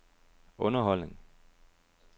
underholdning